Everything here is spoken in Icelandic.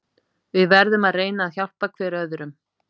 Við verðum að reyna að hjálpa hver öðrum.